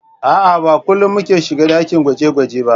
A'a, Ba kullin muke shiga ɗakin gwaje-gwaje ba